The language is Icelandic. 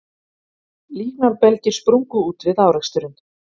Líknarbelgir sprungu út við áreksturinn